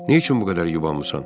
Niyə üçün bu qədər yubanmısan?